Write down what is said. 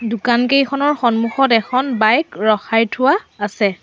দোকানকেইখনৰ সন্মুখত এখন বাইক ৰখাই থোৱা আছে।